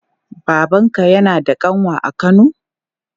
Babanka yana da ƙanwa a kano?